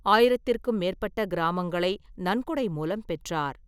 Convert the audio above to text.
ஆயிரத்திற்கும் மேற்பட்ட கிராமங்களை நன்கொடை மூலம் பெற்றார்.